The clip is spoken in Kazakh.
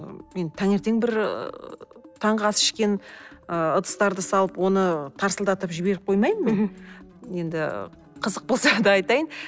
мен таңертең ыыы бір таңғы ас ішкен ы ыдыстарды салып оны тарсылдатып жіберіп қоймаймын мен енді қызық болса да айтайын